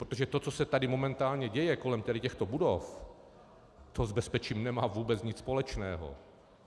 Protože to, co se tady momentálně děje kolem těchto budov, to s bezpečím nemá vůbec nic společného.